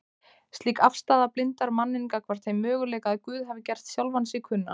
Slík afstaða blindar manninn gagnvart þeim möguleika að Guð hafi gert sjálfan sig kunnan